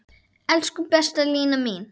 Elsku besta Lína mín.